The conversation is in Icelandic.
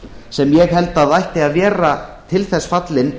sem ég held að ætti að vera til þess fallin